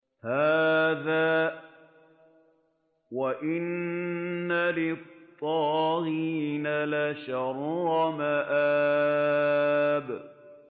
هَٰذَا ۚ وَإِنَّ لِلطَّاغِينَ لَشَرَّ مَآبٍ